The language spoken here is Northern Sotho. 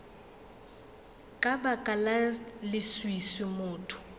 ka baka la leswiswi motho